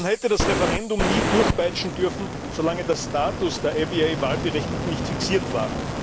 Man hätte das Referendum nie durchpeitschen dürfen, solange der Status der Abyei Wahlberechtigten nicht fixiert war.